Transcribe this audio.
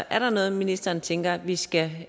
er der noget ministeren tænker vi skal